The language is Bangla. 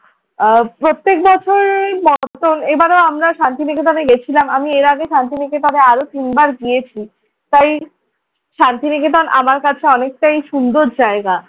আহ প্রত্যেক বছরের মতন এবারও আমরা শান্তি নিকেতনে গেছিলাম। আমি এর আগে শান্তিনিকেতনে আরো তিনবার গিয়েছি। তাই শান্তি নিকেতন আমার কাছে অনেকটাই সুন্দর জায়গা।